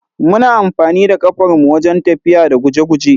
Muna amfanida kafar mu wajen tafiya da guje-guje.